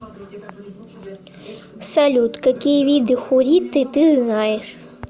салют какие виды хурриты ты знаешь